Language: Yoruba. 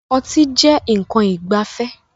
Ọtí jẹ nkan ìgbafẹ́